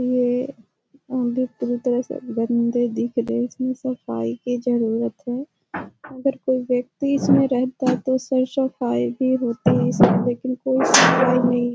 ये सब बन्दे दिख रहे इसमें सफाई की जरुरत है अगर कोई व्यक्ति इसमें रहता है तो उसे सफ़ाई भी होती है लेकिन कोई सफ़ाई नहीं --